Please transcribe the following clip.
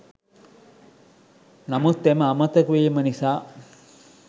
නමුත් එම අමතක වීම නිසා